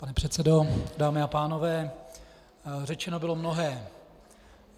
Pane předsedo, dámy a pánové, řečeno bylo mnohé.